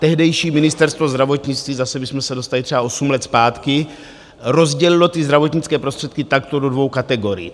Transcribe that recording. Tehdejší Ministerstvo zdravotnictví, zase bychom se dostali třeba osm let zpátky, rozdělilo ty zdravotnické prostředky takto do dvou kategorií.